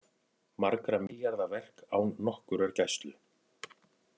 Margra milljarða verk án nokkurrar gæslu